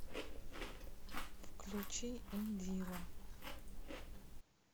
включить индила